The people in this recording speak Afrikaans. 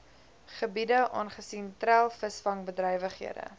gebiede aangesien treilvisvangbedrywighede